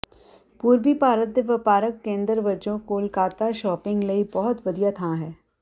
ਪੂਰਬੀ ਭਾਰਤ ਦੇ ਵਪਾਰਕ ਕੇਂਦਰ ਵਜੋਂ ਕੋਲਕਾਤਾ ਸ਼ੌਪਿੰਗ ਲਈ ਬਹੁਤ ਵਧੀਆ ਥਾਂ ਹੈ